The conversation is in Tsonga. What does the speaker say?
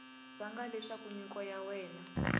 vanga leswaku nyiko ya wena